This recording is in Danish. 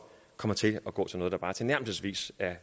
kommer til at gå til noget der bare tilnærmelsesvis er